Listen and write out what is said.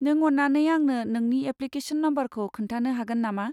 नों अन्नानै आंनो नोंनि एप्लिकेशन नम्बरखौ खोन्थानो हागोन नामा?